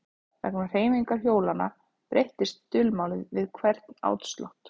Vegna hreyfingar hjólanna breyttist dulmálið við hvern áslátt.